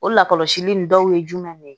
O lakɔlɔsili in dɔw ye jumɛn ne ye